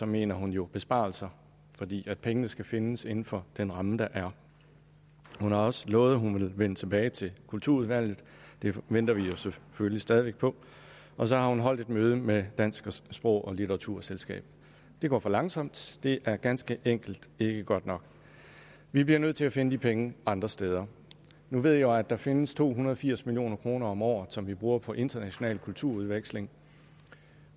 mener hun jo besparelser fordi pengene skal findes inden for den ramme der er hun har også lovet at hun vil vende tilbage til kulturudvalget det venter vi jo selvfølgelig stadig væk på og så har hun holdt et møde med det danske sprog og litteraturselskab det går for langsomt det er ganske enkelt ikke godt nok vi bliver nødt til at finde de penge andre steder nu ved jeg jo at der findes to hundrede og firs million kroner om året som vi bruger på international kulturudveksling